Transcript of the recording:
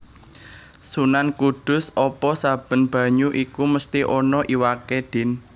Sunan Kudus Apa saben banyu iku mesti ana iwaké Din